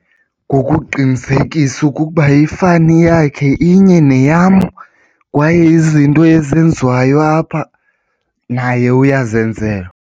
Ngokuqinisekisa ukuba ifani yakhe inye neyam kwaye izinto ezenziwayo apha naye uyazenzelwa.